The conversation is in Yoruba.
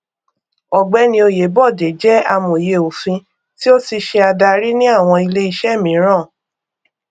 ọgbẹni oyèbọdè jẹ amòye òfin tí ó ti ṣe adarí ní àwọn ilé iṣẹ míràn